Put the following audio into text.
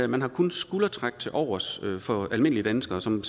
man har kun skuldertræk tilovers for almindelige danskere som